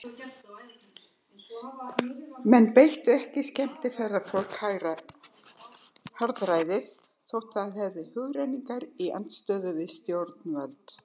Menn beittu ekki skemmtiferðafólk harðræði þótt það hefði hugrenningar í andstöðu við stjórnvöld.